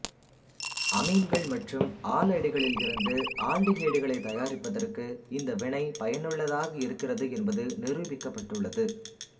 அமீன்கள் மற்றும் ஆலைடுகளிலிருந்து ஆல்டிகைடுகளைத் தயாரிப்பதற்கு இந்த வினை பயனுள்ளதாக இருக்கிறது என்பது நிருபிக்கப்பட்டுள்ளது